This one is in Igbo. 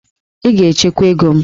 Ị ga-echekwa ego m!